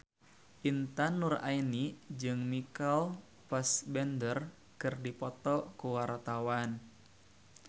Intan Nuraini jeung Michael Fassbender keur dipoto ku wartawan